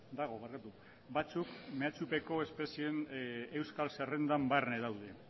dago batzuk mehatxupeko espezien euskal zerrendan barne daude